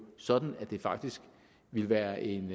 sådan at det faktisk ville være en